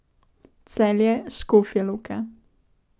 Celje, Škofja Loka.